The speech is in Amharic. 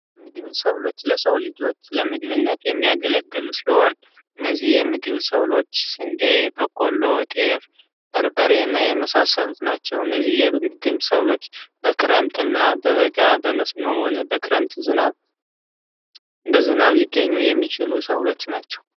ሰብሎች ለመግቢነት የሚያገለግሉ ሲሆን እነዚህ የምግብ ሰብሎች ስንዴ በቀሎ ጤፍ በርበሬ እና የመሳሰሉት ናቸው እነዚህ ብሎች በክረምትና በበጋ በመስኖም ሆነ በክረምት ዝናብ በዝናብ ሊገኙ የሚችሉ ሰብሎች ናቸው።